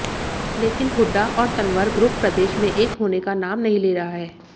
लेकिन हुड्डा और तंवर ग्रुप प्रदेश में एक होने का नाम नही ले रहा है